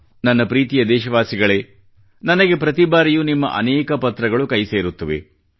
ನನ್ನ ಪ್ರೀತಿಯ ದೇಶವಾಸಿಗಳೆ ನನಗೆ ಪ್ರತಿಬಾರಿಯೂ ನಿಮ್ಮ ಅನೇಕ ಪತ್ರಗಳು ಕೈಸೇರುತ್ತವೆ